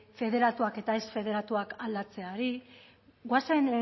federatuak eta ez federatuak aldatzeari goazen